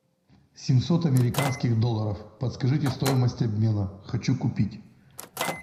семьсот американских долларов подскажите стоимость обмена хочу купить